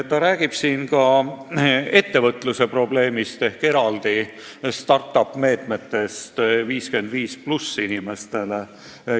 Ta räägib siin ka ettevõtluse probleemist ning eraldi start-up-meetmetest inimestele vanuses 55+.